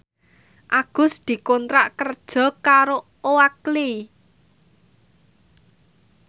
Agus dikontrak kerja karo Oakley